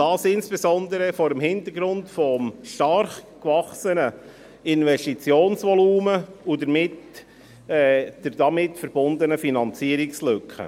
Dies insbesondere vor dem Hintergrund des stark gewachsenen Investitionsvolumens und der damit verbundenen Finanzierungslücke.